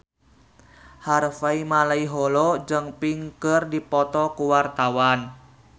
Harvey Malaiholo jeung Pink keur dipoto ku wartawan